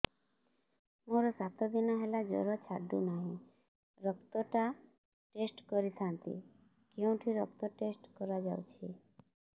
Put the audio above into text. ମୋରୋ ସାତ ଦିନ ହେଲା ଜ୍ଵର ଛାଡୁନାହିଁ ରକ୍ତ ଟା ଟେଷ୍ଟ କରିଥାନ୍ତି କେଉଁଠି ରକ୍ତ ଟେଷ୍ଟ କରା ଯାଉଛି